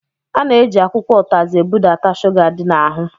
A na-eji akwụkwọ ụtazi ebudata shuga dị n'ahụ.